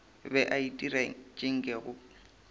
be a itira tše nkego